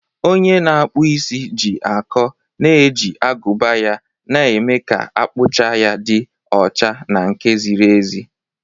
Onye na-akpụ isi ji akọ na-eji agụba ya, na-eme ka akpụcha ya dị ọcha na nke ziri ezi.